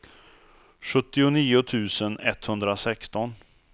sjuttionio tusen etthundrasexton